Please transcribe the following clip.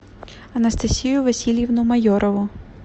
анастасию васильевну майорову